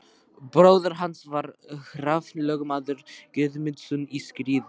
Bróðir hans var Hrafn lögmaður Guðmundsson í Skriðu.